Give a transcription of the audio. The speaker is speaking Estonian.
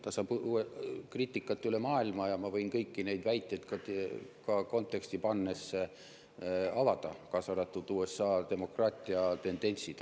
Ta saab kriitikat üle maailma ja ma võin kõiki neid väiteid konteksti pannes avada, kaasa arvatud USA demokraatia tendentse.